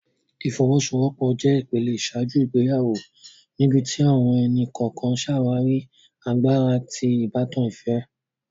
Ifowosowopo jé ìpele iṣaaju ìgbéyàwó níbití àwọn ẹni-kọọkan ṣàwarí àgbàrá ti ìbátan ìfẹ